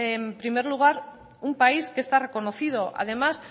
en primer lugar un país que está reconocido además